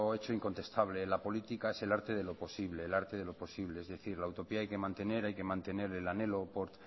hecho incontestable la política es el arte de lo posible es decir la utopía hay que mantener hay que mantener el anhelo por